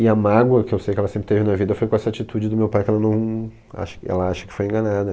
E a mágoa que eu sei que ela sempre teve na vida foi com essa atitude do meu pai, que ela não, acha que ela acha que foi enganada.